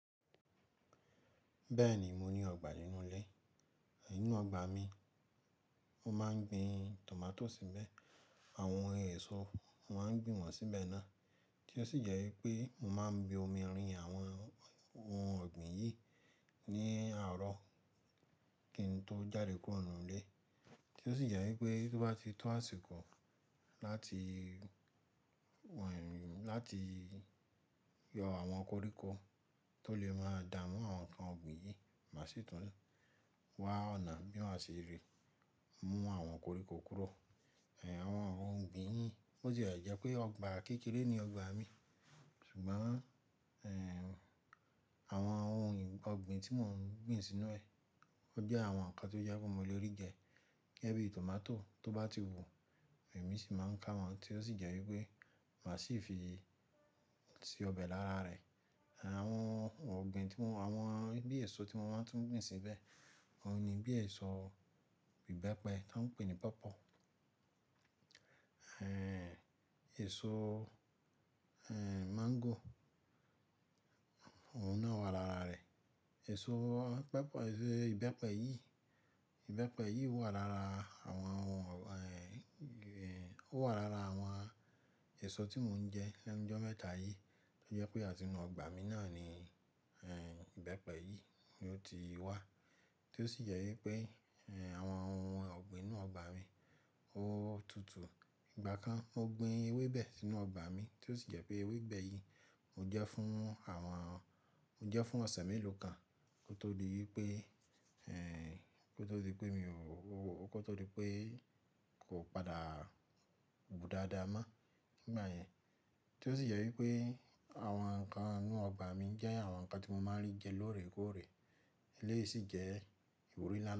Bẹ́ẹ̀ni, mo ní ọgbà inú ilé. Nínú ọgbà mi, mo máa ń gbin tomato síbẹ̀. Àwọn èso, mo máa ń gbin wọ́n síbẹ̀ náà. Tí ó sì jẹ́ wípé mo máa ń bu omi rin àwọn oun ọ̀gbìn yìí ní àárọ̀ kín tó jáde kuro ninu ilé. Tí ó sì jẹ́ wípé tó bá ti tó àsìkò láti, wà- láti yọ àwọn koríko tó lè máa dààmú àwọn ǹkan ọ̀gbìn yìí má sì tún wa ọ̀nà bí ma se rí mú àwọn koríko kúrò. Ẹ̀n, àwọn oun ọ̀gbìn yìí, bó ti jẹ́ pé ọgbà kékeré ni ọgbà mi, ṣùgbọ́n, ẹ̀, àwọn oun ọ̀gbìn tí mò ń gbin sínú ẹ, wọ́n jẹ́ àwọn ǹkan tó jẹ́ pé mo lè rí jẹ. Bí tomato tó bá ti wù, èmi sì máa ń ká wọn, tí ó sì jẹ́ wípé màá sì fi se ọbẹ̀ lára rẹ̀. Àwọn ọ̀gbìn tí mò ń-- àwọn bí èso tí mo máa ń tún gbin síbẹ̀, wọ́n ni bí èso ìbẹ́pẹ tí wọ́n ń pè ní pawpaw Ẹ̀n, èso, ẹ̀, mango, òun náà wà lára rẹ̀. Èso pawpaw, èso ìbẹ́pẹ yìí, ìbẹ́pẹ yìí wà lára àwọn, awà- o wa lára àwọn èso tí mò ń jẹ lẹ́nu jọ́ mẹ́ta yìí. To jẹ́ pé àti inú ọgbà mi náà ni, ẹ́, ìbẹ́pẹ yìí ni ó ti wá. Tí ó sì jẹ́ wípé, ẹ́, àwọn ohun ọ̀gbìn inú ọgbà mi ó tutù. Ìgbà kan mo gbin ewébẹ̀ sínú ọgbà mi, tí ó sì jẹ́ pé ewébẹ̀ yìí mo jẹ́ fún àwọn, mo jẹ́ fún ọ̀sẹ̀ mélòó kan kó tó di wípé, ẹ́n, kó tó di wípé mi ò, kó tó di wípé kò padà gùn dáadáa mọ́ nígbà yẹn. Tí ó sì jẹ́ wípé àwọn ǹkan inú ọgbà mi jẹ́ àwọn ǹkan tí mo máa ń rí jẹ lóòrèkóòrè. Eleyìí sì jẹ́ ìbòrí nla.